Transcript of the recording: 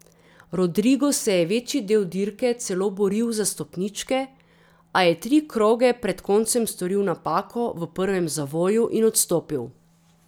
Rodrigo se je večji del dirke celo boril za stopničke, a je tri kroge pred koncem storil napako v prvem zavoju in odstopil.